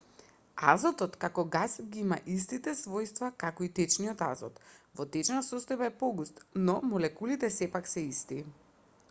азотот како гас ги има истите својства како и течниот азот во течна состојба е погуст но молекулите сепак се исти